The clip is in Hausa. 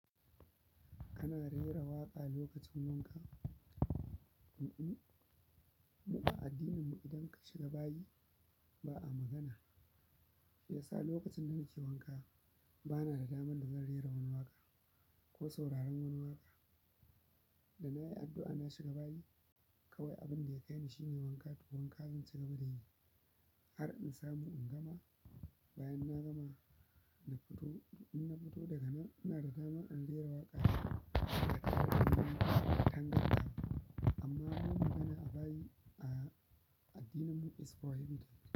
Ana rera waƙa lokacin wanka? Mm-mm, mu a addininmu idan ka shiga bayi ba a magana. Me yasa lokacin da nake wanka ba na da damar dazan rera wani waƙa ko sauraron wani waƙa? Da na yi addu'a na shiga bayi kawai abin da ya kai ni shine wanka tukun wanka zannlci gaba da yi har in samu in gama. Bayan na gama da fito, in na fito daga nan ina da dama in rera waƙa amma mu magana a bayi a addininmu is prohibited.